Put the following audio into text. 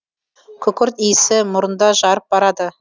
күкірт исі мұрынды жарып барады